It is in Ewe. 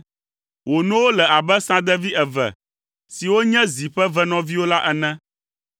Wò nowo le abe sãdevi eve siwo nye zi ƒe evenɔviwo la ene.